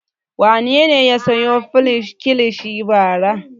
Wane ne ya sayo kilishi bara?